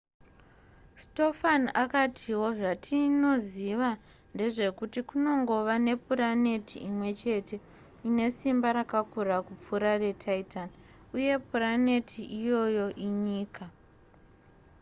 stofan akatiwo zvatinoziva ndezvekuti kunongova nepuraneti imwe chete ine simba rakakura kupfuura retitan uye puraneti iyoyo inyika